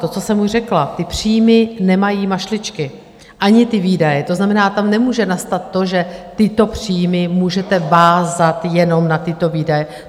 To, co jsem už řekla, ty příjmy nemají mašličky, ani ty výdaje, to znamená, tam nemůže nastat to, že tyto příjmy můžete vázat jenom na tyto výdaje.